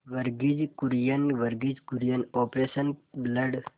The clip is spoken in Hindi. Verghese Kurien Verghese Kurien operation blood